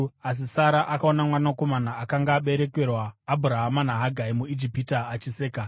Asi Sara akaona mwanakomana akanga aberekerwa Abhurahama naHagari muIjipita achiseka,